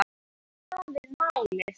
Það hafi tafið málið.